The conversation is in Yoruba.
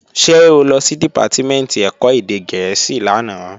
Ṣé o lọ sí Dìpátímẹ̀ntì ẹ̀kọ́ èdè gẹ̀ẹ́sì lánàá?